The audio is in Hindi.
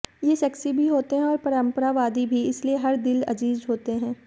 ये सेक्सी भी होते हैं और परंपरावादी भी इसलिए हर दिल अजीज होते हैं